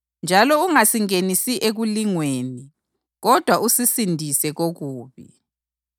Njalo ungasingenisi ekulingweni, kodwa usisindise komubi.’